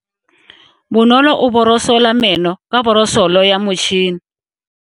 Bonolo o borosola meno ka borosolo ya motšhine.